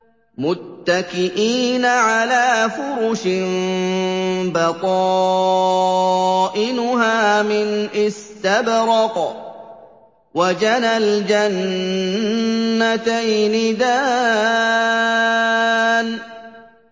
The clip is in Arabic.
مُتَّكِئِينَ عَلَىٰ فُرُشٍ بَطَائِنُهَا مِنْ إِسْتَبْرَقٍ ۚ وَجَنَى الْجَنَّتَيْنِ دَانٍ